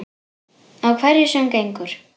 Á hverju sem gengur.